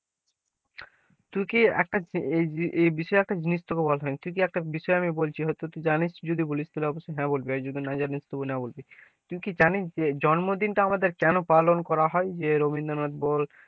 তুই কি একটা এ বিষয়ে একটা জিনিস তোকে বলা হয়নি, তুই কি একটা বিষয়ে আমি বলছি হয়তো তুই জানি যদি বলিস তাহলে অবশ্যই হ্যাঁ বলবি, আর যদি না জানিস তবে না বলবি, তুই কি জানিস যে জন্মদিন টা আমাদের কেনো পালন করা হয়, যে রবীন্দ্রনাথ বল,